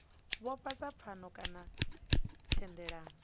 vhofha sa pfano kana thendelano